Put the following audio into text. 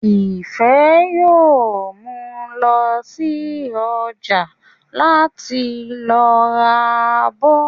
Ìfẹ́ yóò lọ sí ọjà láti lọ ra abọ́